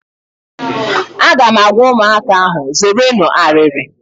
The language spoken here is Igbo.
Aga m agwa ụmụaka ahụ, zeerenụ arịrị!